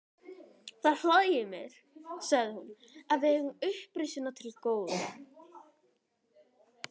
Það hlægir mig, sagði hún,-að við eigum upprisuna til góða.